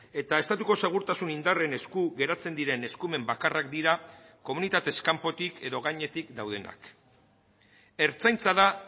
eta estatuko segurtasun indarren esku geratzen diren eskumen bakarrak dira komunitatez kanpotik edo gainetik daudenak ertzaintza da